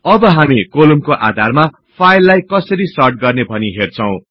अब हामी कोलुम्नको आधारमा फाईललाई कसरी सर्ट गर्ने भनि हेर्छौ